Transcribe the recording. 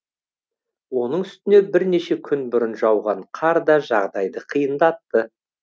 оның үстіне бірнеше күн бұрын жауған қар да жағдайды қиындатты